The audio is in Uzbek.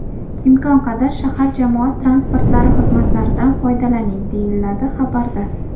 Imkon qadar shahar jamoat transportlari xizmatlaridan foydalaning”, deyiladi xabarda.